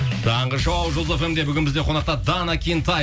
таңғы шоу жұлдыз фм де бүгін бізде қонақта дана кентай